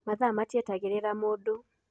Mathaa matietagĩrĩra mũndũ.